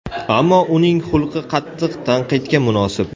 Ammo uning xulqi qattiq tanqidga munosib.